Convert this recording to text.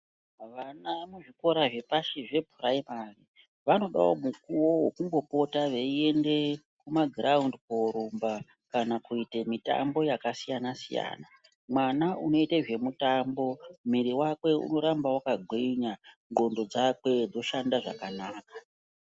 Vana muzvikora zvepashi zvephuraimari, vanodawo mukuwo wekumbopota, veiende kumagiraundi koorumba kuite mitambo yakasiyana-siyana .Mwana inoita zvemitambo, mwiri wakwe unoramba wakagwinya, ndxondo dzakwe dzoshanda zvakanaka..